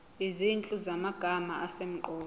izinhlu zamagama asemqoka